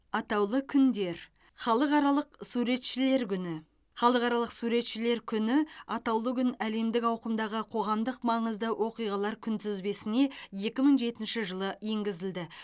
атаулы күндер халықаралық суретшілер халықаралық суретшілер күні атаулы күн әлемдік ауқымдағы қоғамдық маңызды оқиғалар күнтізбесіне екі мың жетінші жылы енгізілді